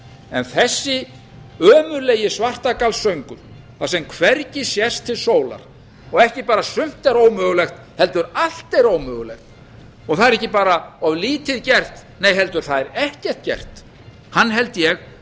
en þessi ömurlegi svartagallssöngur þar sem hvergi sést til sólar og ekki bara sumt er ómögulegt heldur allt er ómögulegt það er ekki bara of lítið gert nei heldur það er ekkert gert hann held ég